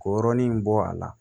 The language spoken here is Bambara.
K'o yɔrɔnin bɔ a la